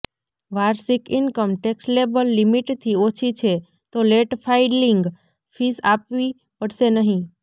વાર્ષિક income taxable લિમિટથી ઓછી છે તો લેટ ફાઈલિંગ ફીસ આપવી પડશે નહિ